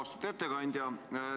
Austatud ettekandja!